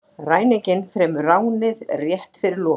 Ræninginn fremur ránið rétt fyrir lokun